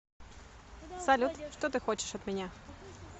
салют что ты хочешь от меня